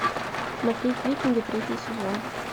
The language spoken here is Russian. смотреть викинги третий сезон